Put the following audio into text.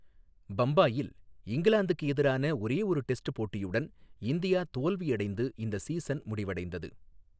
பம்பாயில் இங்கிலாந்துக்கு எதிரான ஒரே ஒரு டெஸ்ட் போட்டியுடன், இந்தியா தோல்வியடைந்து, இந்த சீசன் முடிவடைந்தது.